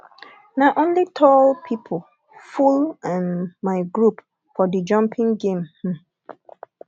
na only tall pipo full um my group for di jumping game um